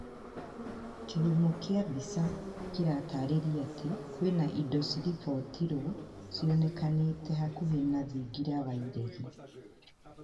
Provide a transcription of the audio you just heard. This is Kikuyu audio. Kihumo kĩa mbica kĩratarĩria atĩ kwĩna indo ciarĩbiotirwo cionekanĩte hakuhĩ na thingira wa iregi